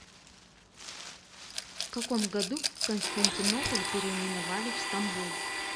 в каком году константинополь переименовали в стамбул